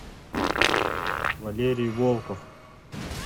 валерий волков